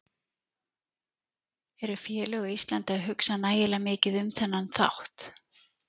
Eru félög á Íslandi að hugsa nægilega mikið um þennan þátt?